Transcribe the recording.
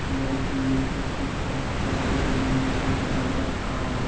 एक लड़की ने कुर्सी पे बैठकर एक वीणा भी पकड़ रखा है।